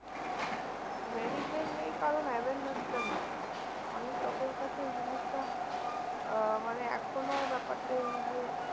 Mediclaim নেই কারণ awareness টা নেই। অনেক লোকের কাছে এই জিনিসটা আহ মানে এখনও ব্যাপারটা এই যে